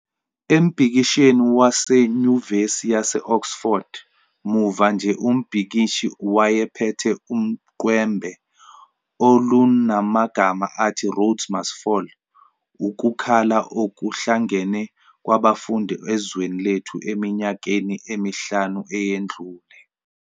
Embhikishweni waseNyuvesi yase-Oxford muva nje umbhikishi wayephethe uqwembe olunamagama athi 'Rhodes must Fall", ukukhala okuhlangene kwabafundi ezweni lethu eminyakeni emihlanu eyedlule.